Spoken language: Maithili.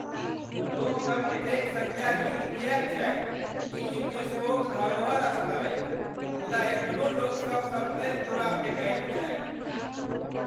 लोकसभ एतेक संज्ञाहीन किएक छथि? ई यूनेस्कोक धरोहर स्थल अछि मुदा एखनो लोकसभ सभतरि कूड़ा फेकैत छथि।